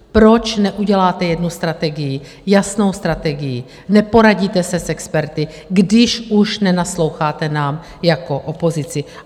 Proč neuděláte jednu strategii, jasnou strategii, neporadíte se s experty, když už nenasloucháte nám jako opozici?